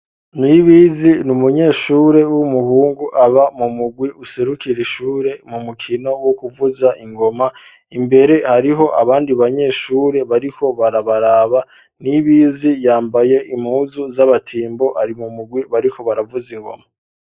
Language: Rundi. Nw'ibizi ni umunyeshure w'umuhungu aba mu mugwi userukira ishure mu mukino wo kuvuza ingoma imbere hariho abandi banyeshure bariho barabaraba n'ibizi yambaye imuzu z'abatimbo ari mu mugwi bariho baravuze ingoma.